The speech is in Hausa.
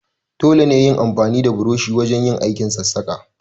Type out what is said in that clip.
Dole ne yin amfani da burushi wujen aikin sassaƙa.